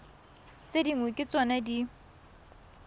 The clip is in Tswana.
tse dingwe ke tsona di